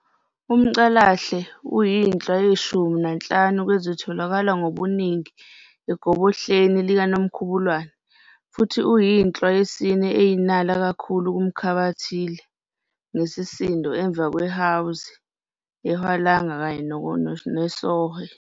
Umcalahle uyinhlwa yeshumi nanhlanu kwezitholakala ngobuningi egobohleni likaNomkhubulwane, futhi uyinhlwa yesine eyinala kakhulu kumkhathilibe ngesisindo emva kweHwanzi, iHwelanga, kanye nesOhwe.